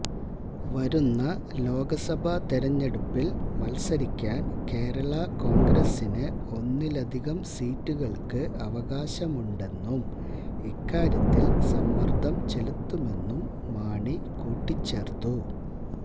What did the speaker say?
വരുന്ന ലോക്സഭ തെരഞ്ഞെടുപ്പില് മത്സരിക്കാന് കേരള കോണ്ഗ്രസിന് ഒന്നിലധികം സീറ്റുകള്ക്ക് അവകാശമുണ്ടെന്നും ഇക്കാര്യത്തില് സമ്മര്ദ്ധം ചെലുത്തുമെന്നും മാണി കൂട്ടിച്ചേര്ത്തു